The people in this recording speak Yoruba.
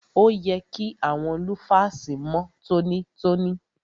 Òye kí àwọn lúfàsì mọ́ tọ́nítọ́ní.